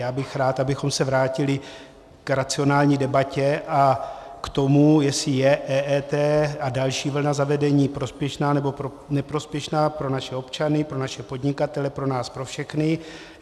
Já bych rád, abychom se vrátili k racionální debatě a k tomu, jestli je EET a další vlna zavedení prospěšná nebo neprospěšná pro naše občany, pro naše podnikatele, pro nás pro všechny.